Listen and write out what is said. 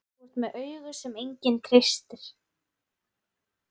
Þú ert með augu sem enginn treystir.